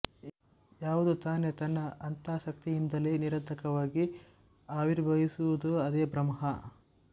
ಯಾವುದು ತಾನೇ ತನ್ನ ಅಂತಃಶಕ್ತಿಯಿಂದಲೇ ನಿರಾತಂಕವಾಗಿ ಆವಿರ್ಭವಿಸುವುದೋ ಅದೇ ಬ್ರಹ್ಮ